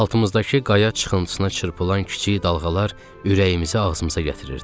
Altımızdakı qaya çıxıntısına çırpılan kiçik dalğalar ürəyimizi ağzımıza gətirirdi.